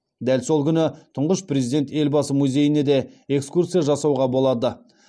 дәл сол күні тұңғыш президент елбасы музейіне де экскурсия жасауға болады